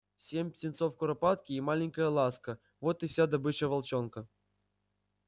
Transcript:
семь птенцов куропатки и маленькая ласка вот и вся добыча волчонка